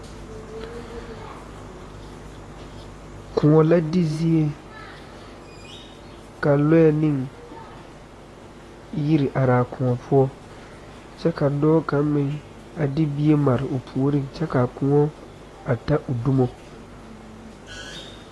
Kõɔ la di zie ka loɛ ne yiri are a kõɔ poɔ kyɛ ka dɔɔ kaŋa meŋ a de bie mare o puoriŋ kyɛ ka a kõɔ ta o dumo.